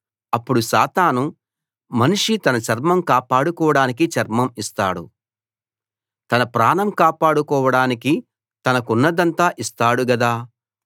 అప్పుడు సాతాను మనిషి తన చర్మం కాపాడుకోవడానికి చర్మం ఇస్తాడు తన ప్రాణం కాపాడుకోవడానికి తనకున్నదంతా ఇస్తాడు గదా